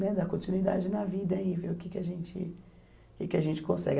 Né dar continuidade na vida e ver o que que a gente o que que a gente consegue.